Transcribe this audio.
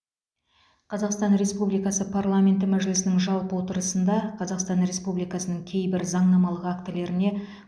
қазақстан республикасы парламенті мәжілісінің жалпы отырысында қазақстан республикасының кейбір заңнамалық актілеріне